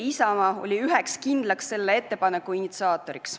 Isamaa oli selle ettepaneku üheks kindlaks initsiaatoriks.